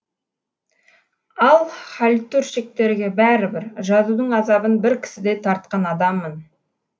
ал хальтуршиктерге бәрі бір жазудың азабын бір кісідей тартқан адаммын